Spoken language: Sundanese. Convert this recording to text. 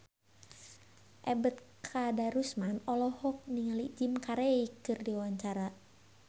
Ebet Kadarusman olohok ningali Jim Carey keur diwawancara